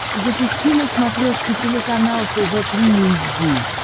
запусти на смотрешке телеканал тв три эйч ди